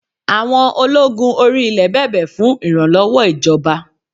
Àwọn ológun orí-ilẹ̀ bẹ̀bẹ̀ fún ìrànlọ́wọ́ ìjọba